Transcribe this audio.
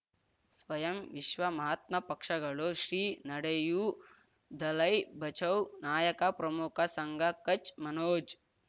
ಸ್ವಯಂ ವಿಶ್ವ ಮಹಾತ್ಮ ಪಕ್ಷಗಳು ಶ್ರೀ ನಡೆಯೂ ದಲೈ ಬಚೌ ನಾಯಕ ಪ್ರಮುಖ ಸಂಘ ಕಚ್ ಮನೋಜ್